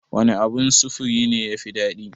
Wane abun sufuri ne ya fi daɗi?